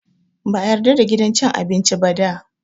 Ba a yarda da gidan cin abinci ba da.